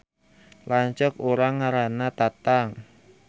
Lanceuk urang ngaranna Tatang